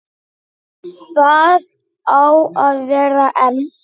Það á að vera en.